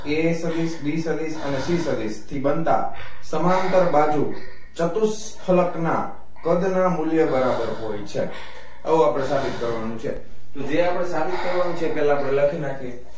a સદિશ b અને c સદિશ થી બનતા સમાંતર બાજુ ચતુઃ સ્થળકના કદના મૂલ્ય બરાબર હોઈ છે આવું આપડે સાબિત કરવાનું છે જે આપડે સાબિત કરવાનું છે એ આપડે પેલા લખી નાખીયે